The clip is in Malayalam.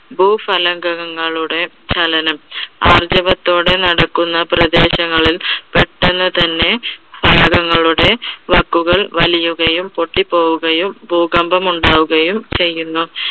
ഭൂഫലകങ്ങളുടെ ചലനം ആർജവത്തോടെ നടക്കുന്ന പ്രദേശങ്ങളിൽ പെട്ടെന്നു തന്നെ ഫലകങ്ങളുടെ വക്കുകൾ വലിയുകയും പൊട്ടി പോവുകയും ഭൂകമ്പം ഉണ്ടാവുകയും ചെയ്യുന്നു.